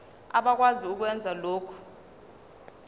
abakwazi ukwenza lokhu